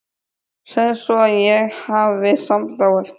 Segðu svo að ég hafi samband á eftir.